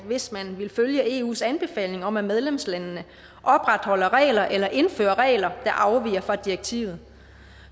hvis man ville følge eus anbefaling om at medlemslandene opretholder regler eller indfører regler der afviger fra direktivet